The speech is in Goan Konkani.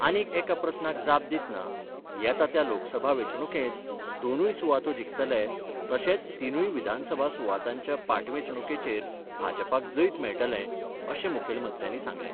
आनीक एका प्रस्नाक जाप दितना येता त्या लोकसभा वेंचणुकेंत दोनूय सुवातो जिखतले तशेंच तिनूय विधानसभा सुवातांच्या पाटवेंचणुकेचेर भाजपाक जैत मेळटलें अशें मुखेलमंत्र्यांनी सांगलें.